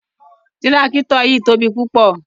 Tirakito yii tobi pupọ